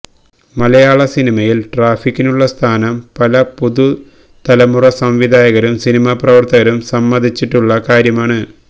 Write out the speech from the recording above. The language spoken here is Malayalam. മലയാള സിനിമയിൽ ട്രാഫിക്കിനുള്ള സ്ഥാനം പല പുതുതലമുറ സംവിധായകരും സിനിമാ പ്രവർത്തകരും സമ്മതിച്ചിട്ടുള്ള കാര്യമാണ്